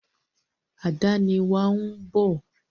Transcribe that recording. Àdénì wa ń bọ̀.